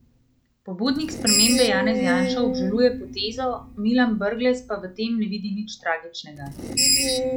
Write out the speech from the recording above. Pobudnik spremembe Janez Janša obžaluje potezo, Milan Brglez pa v tem ne vidi nič tragičnega.